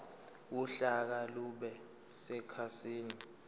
uhlaka lube sekhasini